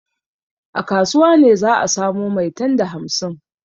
A kasuwa ne za a samo maitan da hamsin.